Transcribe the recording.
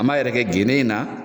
An m'a yɛrɛkɛ gende in na.